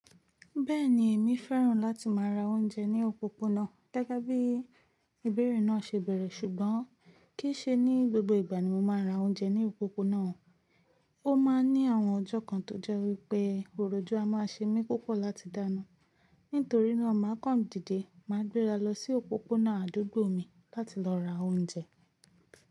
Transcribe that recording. Bẹ́ẹ̀ni, èmi fẹ́ràn láti máa ra oúnjẹ ní òpópónà gégébí ìbéèrè náà ṣe bẹ̀rẹ̀, ṣùgbọ́n kì í ṣe ní gbogbo ìgbà ni mo máa ra oúnjẹ ní òpópónà. Ó máa ń ní àwọn ọjọ́ kan tó jẹ́ wípé òròjú a máa ṣe mí púpọ̀ láti dáná. Nítorí náà, màkọ̀n dìdẹ́ máa gbé ra lọ sí òpópónà àdúgbò mi láti lọ ra oúnjẹ.